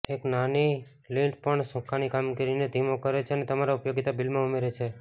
એક નાની લિન્ટ પણ સુકાંની કામગીરીને ધીમો કરે છે અને તમારા ઉપયોગિતા બિલમાં ઉમેરે છે